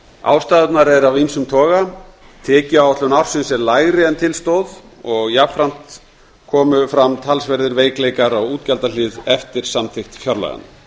ástæðurnar eru af ýmsum toga tekjuáætlun ársins er lægri en til stóð og jafnframt komu fram talsverðir veikleikar á útgjaldahlið eftir samþykkt fjárlaganna